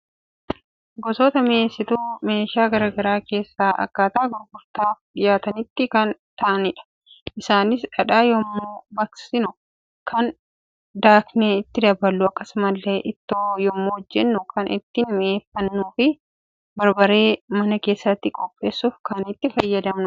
Gosoota mi'eessituu meeshaa garaagaraa keessa akkaataa gurgurtaaf dhiyaatanitti kan taa'anidha. Isaanis dhadhaa yommuu baqsinu kan daaknee itti daballu akkasumallee, ittoo yommuu hojjannu kan ittiin mi'eeffannuufi barbarree mana keessatti qopheessuuf kan itti fayyadamnudha.